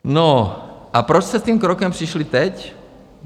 No a proč jste s tím krokem přišli teď?